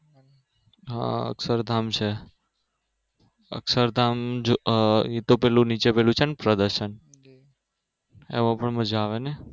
હા અક્ષરધામ છે. અક્ષરધામ એતો પેલું નીચે પેલું છેને પ્રદર્શન